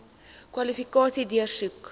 kwalifikasies deursoek